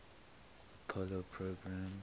apollo program